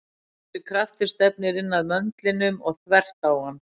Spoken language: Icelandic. Þessi kraftur stefnir inn að möndlinum og þvert á hann.